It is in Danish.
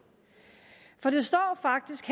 for det står faktisk